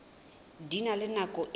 di na le nako e